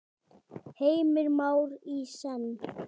Heimir Már: Í senn?